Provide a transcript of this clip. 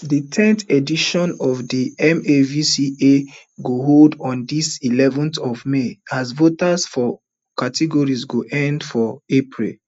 di ten edition of di amvca go hold on di eleven th of may as voting for categories go end for april